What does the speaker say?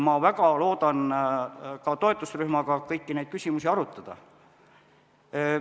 Ma väga loodan ka toetusrühmaga kõiki neid küsimusi arutada.